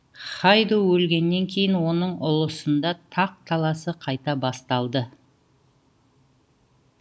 хайду өлгеннен кейін оның ұлысында тақ таласы қайта басталды